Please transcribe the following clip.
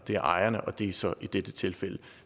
er ejerne og det er så i dette tilfælde